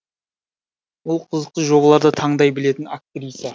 ол қызықты жобаларды таңдай білетін актриса